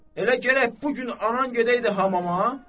Elə gərək bu gün anan gedəydi hamama?